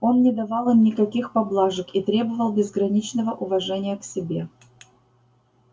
он не давал им никаких поблажек и требовал безграничного уважения к себе